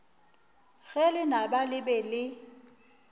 ge lenaba le be le